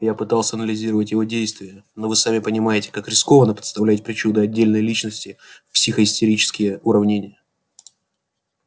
я пытался анализировать его действия но вы сами понимаете как рискованно подставлять причуды отдельной личности в психоисторические уравнения